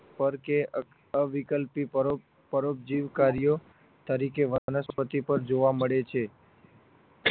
પર કે અવિકલ્પી પરોપ પરોપજીવ કર્યો વનસ્પતિ પર જોવા મળે છે